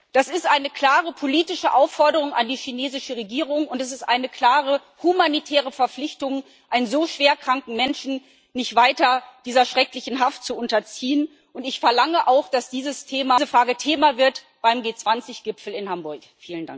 Das ist eine klare politische Aufforderung an die chinesische Regierung, und es ist eine klare humanitäre Verpflichtung, einen so schwer kranken Menschen nicht weiter dieser schrecklichen Haft zu unterziehen. Ich verlange auch, dass diese Frage Thema beim G20 Gipfel in Hamburg wird.